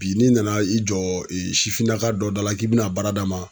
Bi n'i nana i jɔ sifinnaka dɔ da la k'i be na baara d'a ma